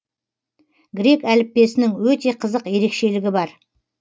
грек әліппесінің өте қызық ерекшелігі бар